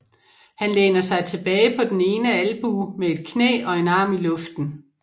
Han læner sig tilbage på den ene albue med et knæ og en arm i luften